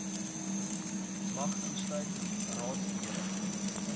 mag insluit raadslede